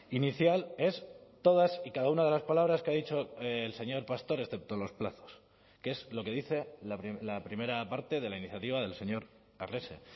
inicial es todas y cada una de las palabras que ha dicho el señor pastor excepto los plazos que es lo que dice la primera parte de la iniciativa del señor arrese